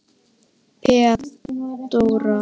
Þeódóra, hvað er opið lengi í IKEA?